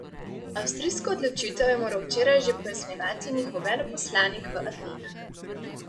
Avstrijsko odločitev je moral včeraj že pojasnjevati njihov veleposlanik v Atenah.